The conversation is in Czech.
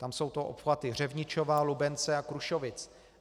Tam jsou to obchvaty Řevničova, Lubence a Krušovic.